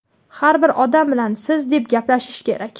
har bir odam bilan "Siz" deb gaplashishi kerak.